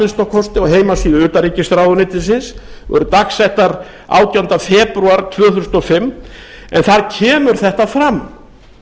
minnsta kosti á heimasíðu utanríkisráðuneytisins og eru dagsettar átjánda febrúar tvö þúsund og fimm en þar kemur þetta fram